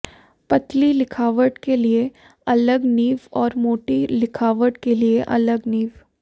पतली लिखावट के लिये अलग निब और मोटी लिखावट के लिये अलग निब